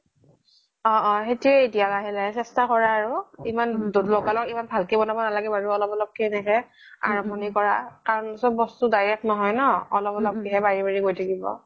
অ অ সেইতো এতিয়া লাহে লাহে চেস্থা কৰা আৰু লগা লগ ইমান ভালকে ব্নাব নালাগে বাৰু অলপ অলপ কে এনেকে আৰাম্ভনি কৰা কাৰন চব বস্তু direct নহয় ন অলপ অলপ কে বাঢ়ি বাঢ়ি গৈ থাকিব